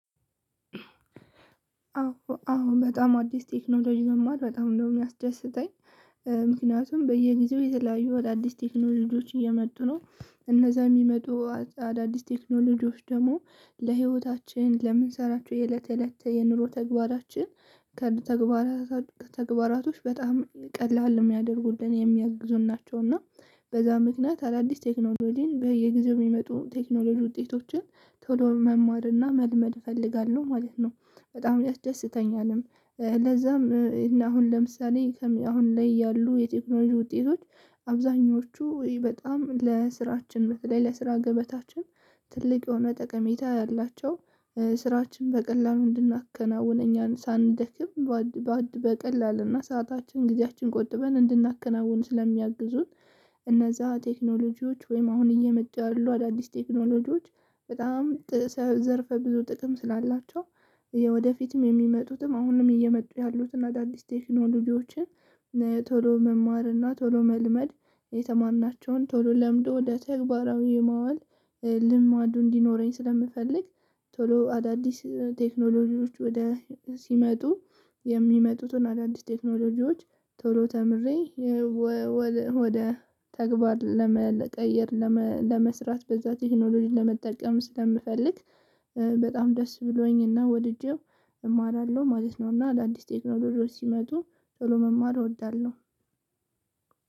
አዎ አዎ በጣም አዲስ ቴክኖሎጂ መማር በጣም ነው የሚያስደስተኝ። ምክንያቱም በየጊዜው የተለያዩ አዳዲስ ቴክኖሎጂዎች እየመጡ ነው እነዛ የሚመጡ አዳዲስ ቴክኖሎጂዎች ደግሞ ለህይወታችን ለምንሰራቸው የእለት እለት የኑሮ ተግባራችን ከተግባራችን ተግባራቶች በጣም ቀላል የሚያደርጉልን የሚያግዙን ናቸው። እና በዛ ምክንያት አዳዲስ ቴክኖሎጂን በየጊዜው የሚመጡ ቴክኖሎጂ ውጤቶችን ቶሎ መማርና መልመድ እፈልጋለሁ ማለት ነው በጣም ያደሰተኛልም። ለዛም እና አሁን ለምሳሌ አሁን ላይ ያሉ የቴክኖሎጂ ውጤቶች አብዛኞቹ በጣም ለስራችን በተለይ ለስራ ገበታችን ትልቅ የሆነ ጠቀሜታ ያላቸው። ስራችን በቀላሉ እንድናከናውነ እኛ ሳንደክም በቀላል እና ሰዓታችን ጊዜያችን ቆጥበን እንድናከናውን ስለሚያግዙን። እነዛ ቴክኖሎጂዎች ወይም አሁን እየመጡ ያሉ አዳዲስ ቴክኖሎጂዎች በጣም ዘርፈ ብዙ ጥቅም ስላላቸው። ወደፊትም የሚመጡትም አሁንም እየመጡ ያሉትን አዳዲስ ቴክኖሎጂዎችን ቶሎ መማርና ቶሎ መልመድ የተማርናቸውን ቶሎ ለምዶ ወደ ተግባራዊ የማዋል ልማዱ እንዲኖረኝ ስለምፈልግ። ቶሎ አዳዲስ ቴክኖሎጂዎች ወደ ሲመጡ የሚመጡትን አዳዲስ ቴክኖሎጂዎች ቶሎ ተምሬ። ወደ ተግባር ለመቀየር ለመስራት በዛ ቴክኖሎጂ ለመጠቀም ስለምፈልግ። በጣም ደስ ብሎኝ እና ወድጄው እማራለሁ ማለት ነው። እና አዳዲስ ቴክኖሎጂ ሲመጡ ቶሎ መማር እወዳለሁ።